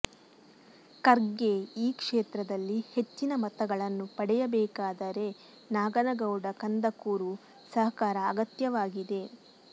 ಖರ್ಗೆ ಈ ಕ್ಷೇತ್ರದಲ್ಲಿ ಹೆಚ್ಚಿನ ಮತಗಳನ್ನು ಪಡೆಯಬೇಕಾದರೆ ನಾಗನಗೌಡ ಕಂದಕೂರು ಸಹಕಾರ ಅಗತ್ಯವಾಗಿದೆ